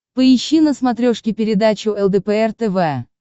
поищи на смотрешке передачу лдпр тв